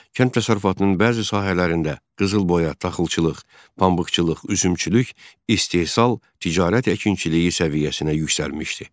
Kənd təsərrüfatının bəzi sahələrində qızılboya, taxılçılıq, pambıqçılıq, üzümçülük istehsal ticarət əkinçiliyi səviyyəsinə yüksəlmişdi.